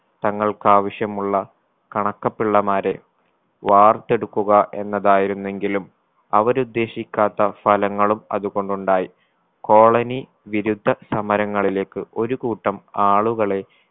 തങ്ങൾക്കാവശ്യമുള്ള കണക്കപിള്ളമാരെ വാർത്തെടുക്കുക എന്നതായിരുന്നെങ്കിലും അവരുദ്ദേശിക്കാത്ത ഫലങ്ങളും അതുകൊണ്ടുണ്ടായി colony വിരുദ്ധ സമരങ്ങളിലേക്ക് ഒരു കൂട്ടം ആളുകളെ